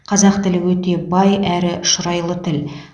қазақ тілі өте бай әрі шұрайлы тіл